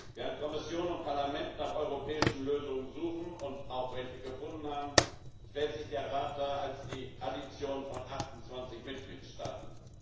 Während Kommission und Parlament nach europäischen Lösungen suchen und auch welche gefunden haben, stellt sich der Rat dar als die Addition von 28 Mitgliedstaaten.